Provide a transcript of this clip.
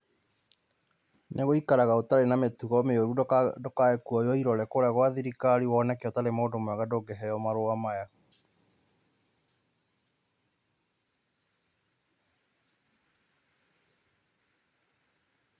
Nĩ gũikaraga ũtarĩ na mĩtugo mĩoru, ndũkae kuoywo irore kũrĩa gwa thirikari woneke ũtarĩ mũndũ mwega ndũngĩheo marũa maya.